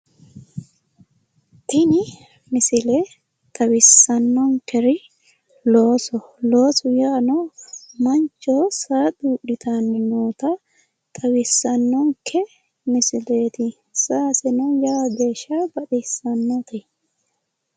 Tini misile xawissannonkeri loosoho. Loosu yaano mancho saa xuudhitanni noota xawissannonke misileeti. Saaseseno lowo geeshsha baxissannote.